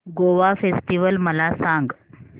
Goa festival मला सांग